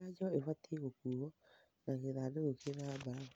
Njanjo ibatiĩ gũkuo na gĩthandũkũ kĩna mbarabu.